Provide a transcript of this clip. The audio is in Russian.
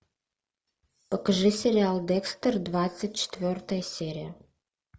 покажи сериал декстер двадцать четвертая серия